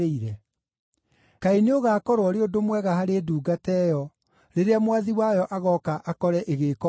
Kaĩ nĩũgaakorwo ũrĩ ũndũ mwega harĩ ndungata ĩyo, rĩrĩa mwathi wayo agooka akore ĩgĩĩka o ũguo-ĩ!